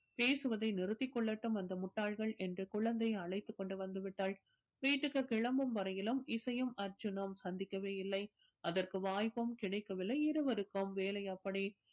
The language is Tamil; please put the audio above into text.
பேசுவதை நிறுத்திக் கொள்ளட்டும் அந்த முட்டாள்கள் என்று குழந்தையை அழைத்துக் கொண்டு வந்து விட்டாள் வீட்டுக்கு கிளம்பும் வரையிலும் இசையும் அர்ஜுனும் சந்திக்கவே இல்லை அதற்கு வாய்ப்பும் கிடைக்கவில்லை இருவருக்கும் வேலை அப்படி